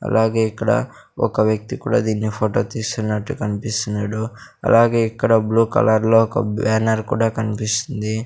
అలాగే ఇక్కడ ఒక వ్యక్తి కూడా దీన్ని ఫొటో తీస్తున్నట్టు కన్పిస్తున్నాడు అలాగే ఇక్కడ బ్లూ కలర్లో ఒక బ్యానర్ కూడా కన్పిస్తుంది.